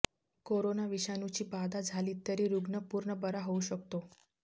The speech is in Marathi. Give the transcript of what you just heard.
कोरोना विषाणूची बाधा झाली तरी रुग्ण पूर्ण बरा होऊ शकतो